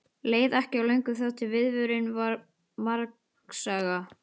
Leið ekki á löngu þar til vörðurinn varð margsaga.